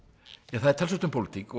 það er talsvert um pólitík